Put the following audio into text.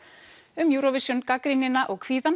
um Eurovision gagnrýnina og kvíðann